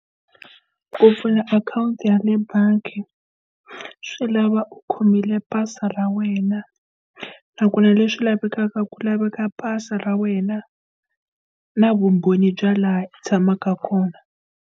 Ku pfula akhawunti ya le bangi swi lava u khomile pasi ra wena. A ku na leswi lavekaka, ku laveka pasi ra wena na vumbhoni bya laha u tshamaka kona.